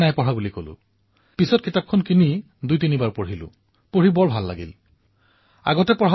মই অনুভৱ কৰিলো যে যদি এই কিতাপখন পূৰ্বেই পঢ়িলোহেঁতেন তেন্তে মই যথেষ্ট লাভান্বিত হলোহেঁতেন